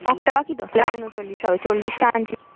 একটা বাকি তো কেন উন চল্লিশ হবে চল্লিশটা ID তো